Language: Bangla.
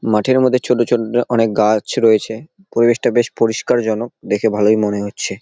মাঠের মধ্যে ছোট ছোট অনেক গা-আছ রয়েছে। পরিবেশটা বেশ পরিষ্কার জনক। দেখে ভালোই মনে হচ্ছে।